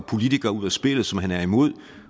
politikere ud af spillet som han er imod